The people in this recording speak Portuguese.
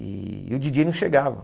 E o djíi djêi não chegava.